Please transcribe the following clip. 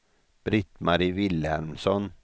Britt-Marie Vilhelmsson